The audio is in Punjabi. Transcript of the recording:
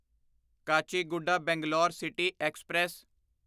Kacheguda Bangalore city express